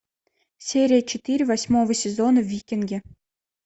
серия четыре восьмого сезона викинги